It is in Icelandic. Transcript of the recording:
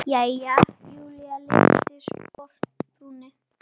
Jæja, Júlía lyfti sposk brúnum.